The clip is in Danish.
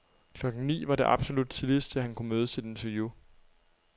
Klokken ni var det absolut tidligste, han kunne mødes til et interview.